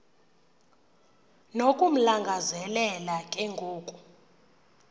nokumlangazelela ke ngoku